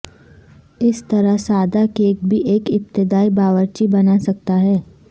اس طرح سادہ کیک بھی ایک ابتدائی باورچی بنا سکتا ہے